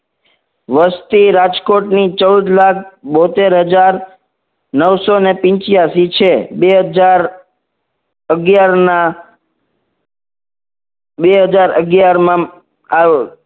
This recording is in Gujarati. વસ્તી રાજકોટની ચૌદ લાખ બોતેર હજાર નવસો ને પીન્ચીયાશી છે. બે હજાર અગિયાર ના બે હજાર અગિયાર માં આ